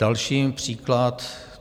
Další příklad.